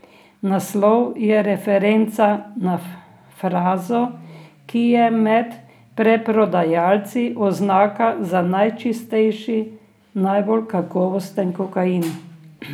Naslov je referenca na frazo, ki je med preprodajalci oznaka za najčistejši, najbolj kakovosten kokain.